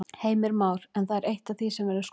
Heimir Már: En það er eitt af því sem verður skoðað?